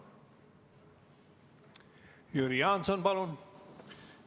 Jüri Jaanson, palun!